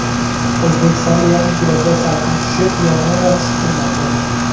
O‘zbekistonda yaqin kunlarda salqin tushib, yomg‘ir yog‘ishi kutilmoqda.